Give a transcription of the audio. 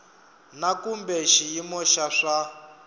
na kumbe xiyimo xa swa